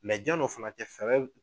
janni o fana cɛ fɛɛrɛw